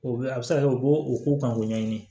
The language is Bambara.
O bɛ a bɛ se ka kɛ u b'o ko kan k'o ɲɛɲini